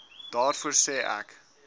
daarvoor sê ek